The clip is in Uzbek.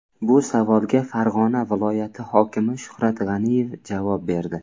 Bu savolga Farg‘ona viloyati hokimi Shuhrat G‘aniyev javob berdi .